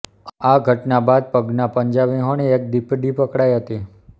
આ ઘટના બાદ પગના પંજા વીહોણી એક દીપડી પકડાઇ હતી